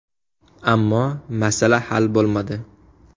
Ammo masala hal bo‘lmadi”.